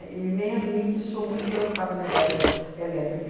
E nem a mim, que sou muito preocupada, nervosa, elétrica.